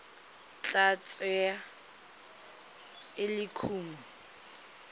tla tsewa e le kumo